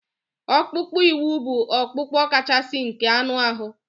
Ọkpụkpụ úkwù bụ ọkpụkpụ kachasị nke anụ ahụ